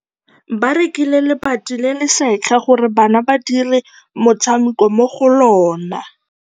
Ba rekile lebati le le setlha gore bana ba dire motshameko mo go lona.